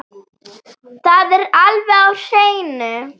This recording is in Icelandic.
Það er alveg á hreinu.